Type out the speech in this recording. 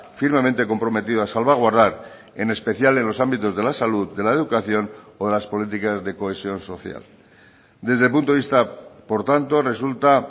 firmemente comprometido a salvaguardar en especial en los ámbitos de la salud de la educación o de las políticas de cohesión social desde el punto de vista por tanto resulta